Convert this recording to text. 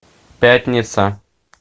пятница